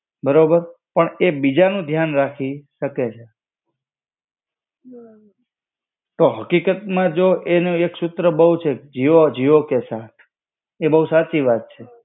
બરોબર પણ એ બીજાનું ધ્યાન રાખી શકે છે. તો હકીકત માં જો એનો એક સૂત્ર બહું છે કે જીઓ જીઓ કે સાથ. એ બહું સાચી વાત છે.